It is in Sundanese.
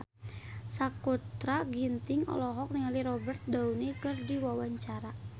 Sakutra Ginting olohok ningali Robert Downey keur diwawancara